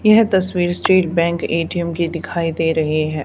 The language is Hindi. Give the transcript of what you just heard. यह तस्वीर स्टेट बैंक ए_टी_एम की दिखाई दे रहे हैं।